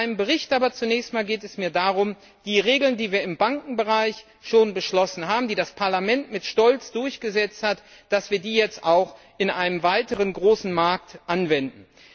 In meinem Bericht geht es mir zunächst darum, die Regeln, die wir im Bankenbereich schon beschlossen haben, die das Parlament mit Stolz durchgesetzt hat, jetzt auch in einem weiteren großen Markt anzuwenden.